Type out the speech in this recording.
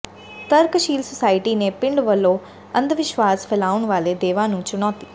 ਤਰਕਸ਼ੀਲ ਸੁਸਾਇਟੀ ਨੇ ਪਿੰਡ ਵੱਲੋਂ ਅੰਧਵਿਸ਼ਵਾਸ਼ ਫੈਲਾਉਣ ਵਾਲੇ ਦੇਵਾ ਨੂੰ ਚੁਣੌਤੀ